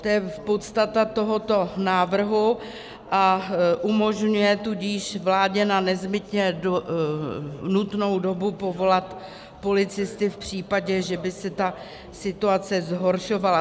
To je podstata tohoto návrhu, a umožňuje tudíž vládě na nezbytně nutnou dobu povolat policisty v případě, že by se ta situace zhoršovala.